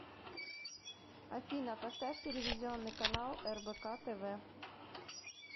афина поставь телевизионный канал рбк тв